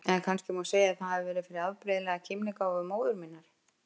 Eða kannski má segja að það hafi verið fyrir afbrigðilega kímnigáfu móður minnar.